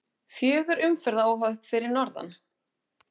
Fjögur umferðaróhöpp fyrir norðan